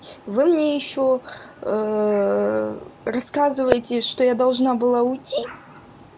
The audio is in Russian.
вы мне ещё рассказываете что я должна была уйти